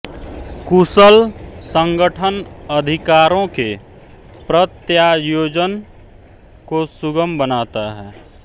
कुशल संगठन अधिकारों के प्रत्यायोजन को सुगम बनाता है